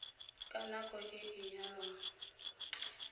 ka nako e a nyalwang